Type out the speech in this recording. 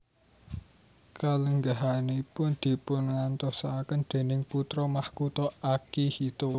Kalenggahanipun dipungantosaken déning Putra Makutha Akihito